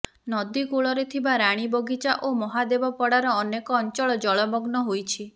ନଦୀ କୂଳରେ ଥିବା ରାଣୀବଗିଚା ଓ ମହାଦେବପଡ଼ାର ଅନେକ ଅଞ୍ଚଳ ଜଳମଗ୍ନ ହୋଇଛି